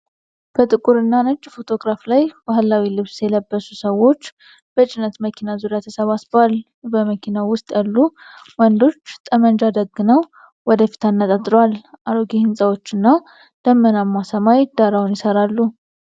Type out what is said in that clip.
በጥቁርና ነጭ ፎቶግራፍ ላይ ባህላዊ ልብስ የለበሱ ሰዎች በጭነት መኪና ዙሪያ ተሰባስበዋል። በመኪናው ውስጥ ያሉ ወንዶች ጠመንጃ ደግነው ወደ ፊት አነጣጥረዋል። አሮጌ ሕንፃዎችና ደመናማ ሰማይ ዳራውን ይሠራሉ።